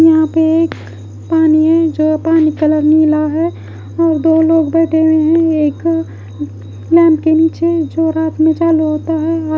यहाँ पे एक पानी है जो पानी कलर नीला है और दो लोग बैठे हुए है एक नल के नीचे जो रात में चालू होता है ऑ --